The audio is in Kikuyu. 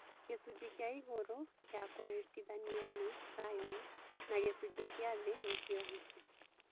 Gĩcunjĩ kĩa igũrũ ya kũnyitithania nĩ scion na gĩcunjĩ kĩa thĩ nĩkĩo hisa